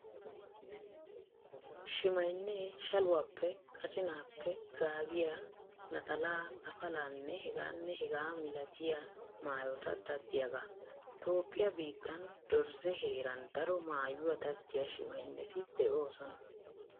Shimaynnee shaluwaappe, qacinaappe gaabiyaa, naxalaa, afalaanne hegaanne hegaa milatiya maayota daddiyagaa. Toophphiyaa biittan Dorzze heeran daro maayuwaa daddiya shimaynneti de"oosona.